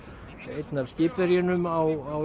einn af skipverjunum á